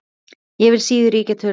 Ég vil síður ýkja tölur.